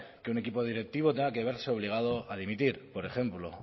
que un equipo directivo tenga que verse obligado a dimitir por ejemplo o